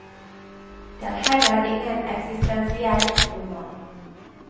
Det er heller ingen eksistensiell roman.